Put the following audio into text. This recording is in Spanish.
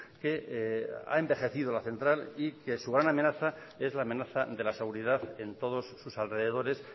que ha envejecido la central y que su gran amenaza es la amenaza de la seguridad en todos sus alrededores